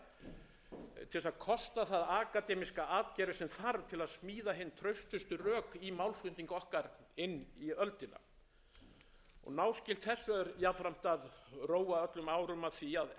til að kosta það akademíska atgervi sem þarf til að smíða hin traustustu rök í málflutning okkar inn í öldina náskylt þessu er jafnframt að róa öllum árum að því að efla